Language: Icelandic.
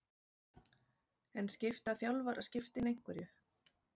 En skipta þjálfaraskiptin einhverju?